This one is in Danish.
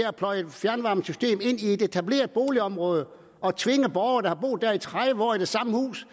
at pløje et fjernvarmesystem ind i et etableret boligområde og tvinge borgere der har boet tredive år i det samme hus